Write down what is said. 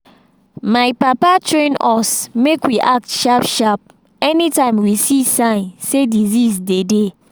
my papa train us make we act sharp sharp anytime we see sign say disease dey dey